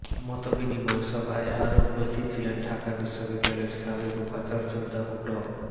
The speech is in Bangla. মতবিনিময় সভায় আরও উপস্থিত ছিলেন ঢাকা বিশ্ববিদ্যালয়ের সাবেক উপাচার্য অধ্যাপক ড